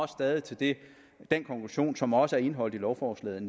stadig til den den konklusion som også er indeholdt i lovforslaget